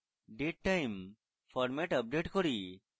datetime format update করি